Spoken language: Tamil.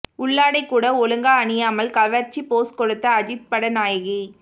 உள்ளாடை கூட ஒழுங்கா அணியாமல் கவர்ச்சி போஸ் கொடுத்த அஜித் பட நாயகி